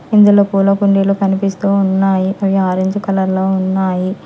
ఇందులో పూల కుండీలు కనిపిస్తూ ఉన్నాయి అవి ఆరెంజ్ కలర్ లో ఉన్నాయి.